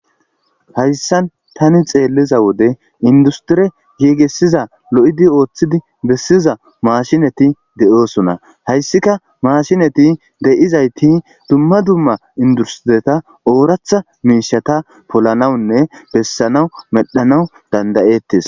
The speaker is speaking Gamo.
hayssan tani xeelliza wode industire yeegesiza lo7idi ooththidi bessiza maashinati de7oosona hayssika maashinati deyizayti dumma dumma industireta ooratha miishata polanawunne bessanawu medhanawu dandayettes